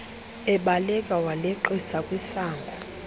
ebaleka waleqisa kwisango